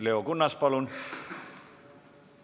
Leo Kunnas, palun!